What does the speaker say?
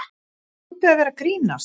Þið hljótið að vera að grínast!